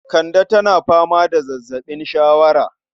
Kande tana fama da zazzaɓin shawara